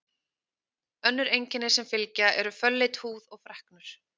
Önnur einkenni sem fylgja eru fölleit húð og freknur.